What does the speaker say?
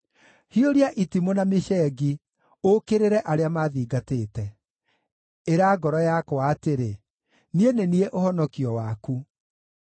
Hiũria itimũ na mĩcengi, ũũkĩrĩre arĩa maathingatĩte. Ĩra ngoro yakwa atĩrĩ, “Niĩ nĩ niĩ ũhonokio waku.”